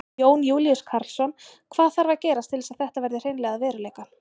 Jón Júlíus Karlsson: Hvað þarf að gerast til þess að þetta verði hreinlega að veruleika?